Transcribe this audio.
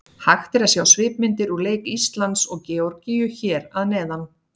Hægt er að sjá svipmyndir úr leik Íslands og Georgíu hér að neðan.